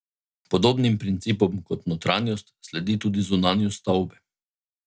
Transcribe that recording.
Podobnim principom kot notranjost, sledi tudi zunanjost stavbe.